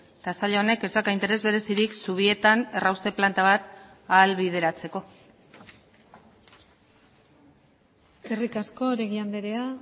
eta sail honek ez dauka interes berezirik zubietan errauste planta bat ahalbideratzeko eskerrik asko oregi andrea